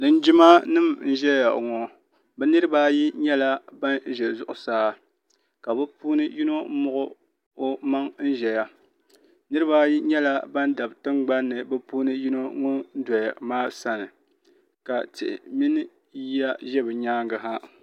linjimanima n-ʒeya ŋɔ bɛ niriba ayi nyɛla ban ʒe zuɣusaa ka bɛ puuni yino muɣi o maŋa n-ʒeya niriba ayi nyɛla ban dabi tiŋgbani bɛ puuni yino ŋɔ doya maa sani ka tihi mini yiya ʒe bɛ nyaaga ha.